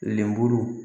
Lemuru